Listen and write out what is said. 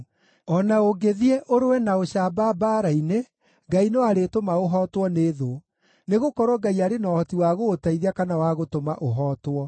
O na ũngĩthiĩ ũrũe na ũcamba mbaara-inĩ, Ngai no arĩtũma ũhootwo nĩ thũ, nĩgũkorwo Ngai arĩ na ũhoti wa gũgũteithia kana wa gũtũma ũhootwo.”